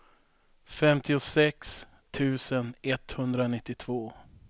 femtiosex tusen etthundranittiotvå